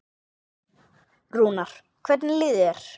Rúnar, hvernig líður þér?